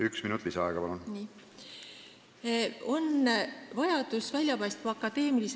Üks minut lisaaega, palun!